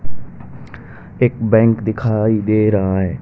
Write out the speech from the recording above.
एक बैंक दिखाई दे रहा है।